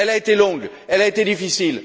Elle a été longue, elle a été difficile.